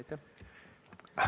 Aitäh!